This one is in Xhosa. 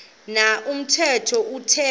na umthetho uthixo